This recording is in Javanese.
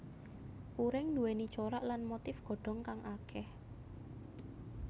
Puring nduwèni corak lan motif godhong kang akeh